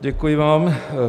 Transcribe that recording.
Děkuji vám.